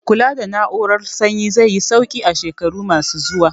Kula da na'urar sanyi zai yi sauki a shekaru ma su zuwa